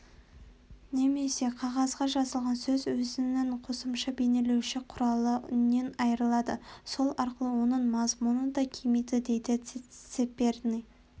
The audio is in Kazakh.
немесе қағазға жазылған сөз өзінің қосымша бейнелеуші құралы үннен айырылады сол арқылы оның мазмұны да кемиді дейді цаперный